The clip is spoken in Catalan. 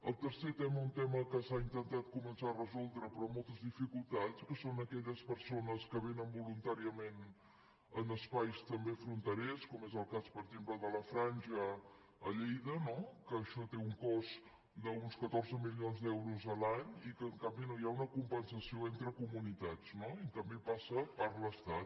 el tercer tema un tema que s’ha intentat començar a resoldre però amb moltes dificultats que són aquelles persones que vénen voluntàriament a espais també fronterers com és el cas per exemple de la franja a lleida no que això té un cost d’uns catorze milions d’euros l’any i que en canvi no hi ha una compensació entre comunitats no i en canvi passa per l’estat